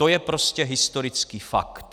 To je prostě historický fakt.